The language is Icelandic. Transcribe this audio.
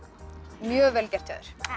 mjög vel gert hjá